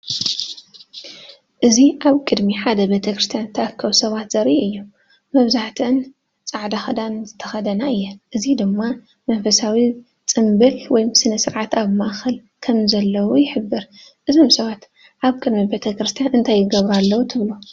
እዚ ኣብ ቅድሚ ሓደ ቤተክርስትያን ዝተኣከቡ ሰባት ዘርኢ እዩ። መብዛሕትአን ጻዕዳ ክዳን ዝተኸድና እየን፣ እዚ ድማ መንፈሳዊ ጽምብል ወይ ስነ-ስርዓት ኣብ ማእከል ከም ዘለዉ ይሕብር። እዞም ሰባት ኣብ ቅድሚ ቤተ ክርስቲያን እንታይ ይገብሩ ኣለዉ ትብሉ?